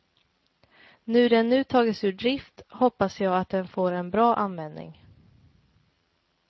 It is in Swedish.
När den nu tas ur drift hoppas jag att den får en bra användning.